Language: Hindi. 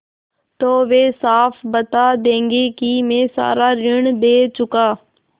तो वे साफ बता देंगे कि मैं सारा ऋण दे चुका